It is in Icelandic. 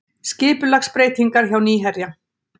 Skipulagsbreytingar hjá Nýherja